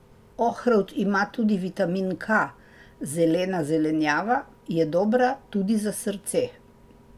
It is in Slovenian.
Ohrovt ima tudi vitamin K, zelena zelenjava je dobra tudi za srce.